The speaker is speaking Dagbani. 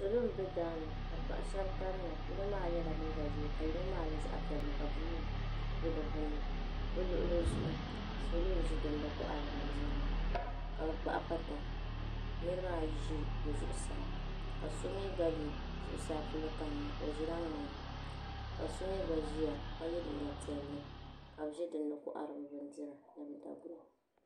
Salo m be daani ka paɣa sheba kanna yino maa yela liiga ʒee ka yino maa yela zaɣa piɛli ka buluu be di gbinni bɛ luɣuli zuɣu salo n ʒi dinn kohari bindirigu ka bɛ kpahi pata niriba ayi ʒi bɛ zuɣusaa ka so yi zuɣusaa polo kanna o ʒila ŋmani ka so mee gba ʒia ka ye liiga piɛllika bɛ be dinni kohari bɛ bindira.